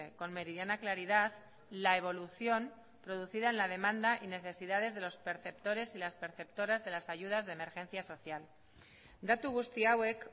con meridiana claridad la evolución producida en la demanda y necesidades de los perceptores y las perceptoras de las ayudas de emergencia social datu guzti hauek